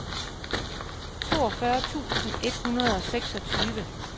toogfyrre tusind et hundrede og seksogtyve